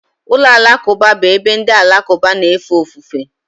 Ụlọ alakụba bụ ebe ndị Alakụba na-efe ofufe.